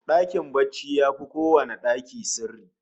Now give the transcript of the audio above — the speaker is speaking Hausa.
Dakin barci yafi kowanne daki sirri